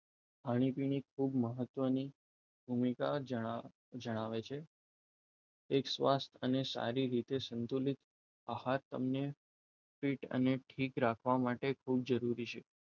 ખાણીપીને ખૂબ મહત્વની ગણાવે છે એક શ્વાસ છે અને સારી રીતે સંતુલિત આહાર તમને પીઠ અને ઠીક રાખવા માટે જરૂરી છે